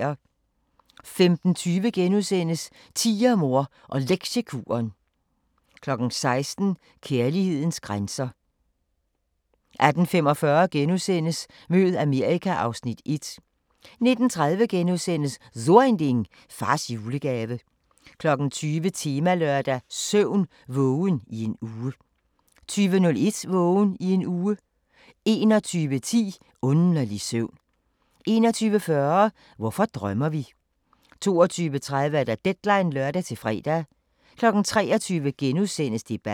15:20: Tigermor og Lektiekuren * 16:00: Kærlighedens grænser 18:45: Mød Amerika (Afs. 1)* 19:30: So Ein Ding: Fars julegave * 20:00: Temalørdag: Søvn – vågen i en uge 20:01: Vågen i en uge 21:10: Underlig søvn 21:40: Hvorfor drømmer vi? 22:30: Deadline (lør-fre) 23:00: Debatten *